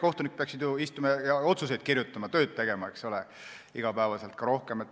Kohtunikud peaksid ju istuma ja otsuseid kirjutama, tööd tegema, eks ole, iga päev.